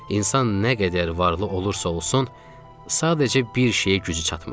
İnsan nə qədər varlı olursa olsun, sadəcə bir şeyə gücü çatmır.